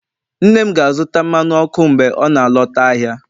nne m ga-azụta mmanụ ọkụ mgbe ọ na-alọta ahịa